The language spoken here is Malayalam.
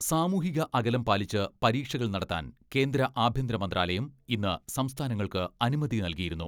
സാമൂഹിക അകലം പാലിച്ച് പരീക്ഷകൾ നടത്താൻ കേന്ദ്ര ആഭ്യന്തര മന്ത്രാലയം ഇന്ന് സംസ്ഥാനങ്ങൾക്ക് അനുമതി നൽകിയിരുന്നു.